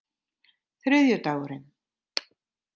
þriðjudagurinn